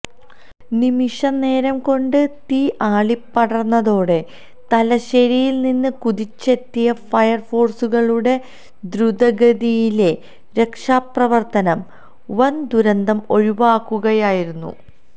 നിമിഷനേരംകൊണ്ട് തീ ആളിപ്പടർന്നതോടെ തലശ്ശേരിയിൽനിന്ന് കുതിച്ചെത്തിയ ഫയർഫോഴ്സുകളുടെ ദ്രുതഗതിയിലെ രക്ഷാപ്രവർത്തനം വൻ ദുരന്തം ഒഴിവാക്കുകയായിരുന്നു